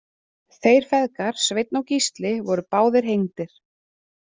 Þeir feðgar Sveinn og Gísli voru báðir hengdir.